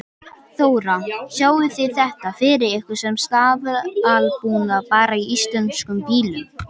Þóra: Sjáið þið þetta fyrir ykkur sem staðalbúnað bara í íslenskum bílum?